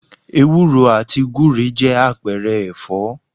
Ewúro àti gúre jẹ́ àpẹẹrẹ ẹ̀fọ́